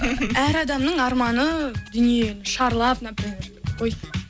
әр адамның арманы дүние шарлап например ой